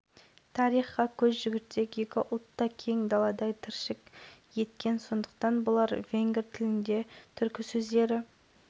миклош иштванды және венгрияның қазақстандағы төтенше және өкілетті елшісі андраш баранимен кездесті басқосуда тараптар екіжақты